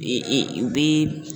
E e u bɛ.